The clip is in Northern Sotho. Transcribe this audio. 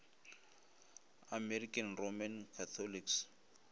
american roman catholics